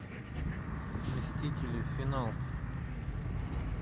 мстители финал